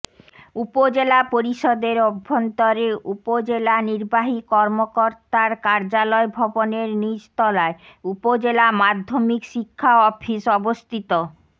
উপজেলা পরিষদের অভ্যন্তরে উপজেলা নির্বাহী কর্মকর্তার কার্যালয় ভবনের নিচ তলায় উপজেলা মাধ্যমিক শিক্ষা অফিস অবস্থিত